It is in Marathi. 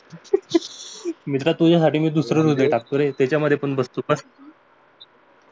मित्रातुझ्यासाठी मी दुसरं हृदय टाकतो रे त्यांच्यामध्ये बस तू बस